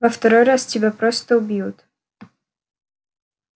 во второй раз тебя просто убьют